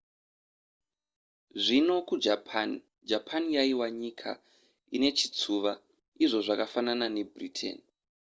zvino kujapan japan yaiva nyika inechitsuwa izvo zvakafanana nebritain